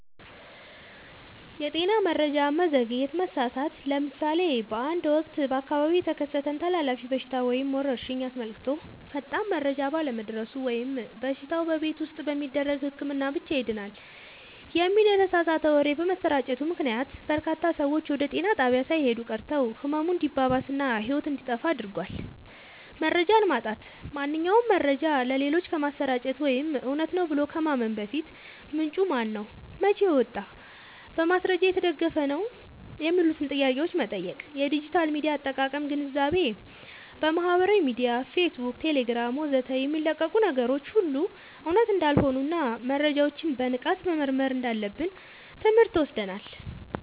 የጤና መረጃ መዘግየት/መሳሳት፦ ለምሳሌ በአንድ ወቅት በአካባቢው የተከሰተን ተላላፊ በሽታ ወይም ወረርሽኝ አስመልክቶ ፈጣን መረጃ ባለመድረሱ ወይም በሽታው "በቤት ውስጥ በሚደረግ ህክምና ብቻ ይድናል" የሚል የተሳሳተ ወሬ በመሰራጨቱ ምክንያት፣ በርካታ ሰዎች ወደ ጤና ጣቢያ ሳይሄዱ ቀርተው ህመሙ እንዲባባስ እና ህይወት እንዲጠፋ አድርጓል። መረጃን ማጣራት፦ ማንኛውንም መረጃ ለሌሎች ከማሰራጨት ወይም እውነት ነው ብሎ ከማመን በፊት፣ "ምንጩ ማነው? መቼ ወጣ? በማስረጃ የተደገፈ ነው?" የሚሉትን ጥያቄዎች መጠየቅ። የዲጂታል ሚዲያ አጠቃቀም ግንዛቤ፦ በማህበራዊ ሚዲያ (ፌስቡክ፣ ቴሌግራም ወዘተ) የሚለቀቁ ነገሮች ሁሉ እውነት እንዳልሆኑና መረጃዎችን በንቃት መመርመር እንዳለብን ትምህርት ወስደናል።